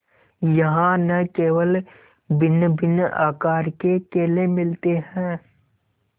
यहाँ न केवल भिन्नभिन्न आकार के केले मिलते हैं